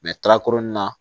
tarakuru nin na